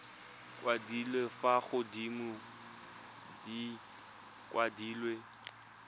kwadilwe fa godimo di kwadilwe